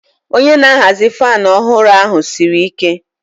Onye na-ahazi fan ọhụrụ ahụ siri ike.